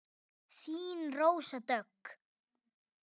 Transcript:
Þín, Rósa Dögg.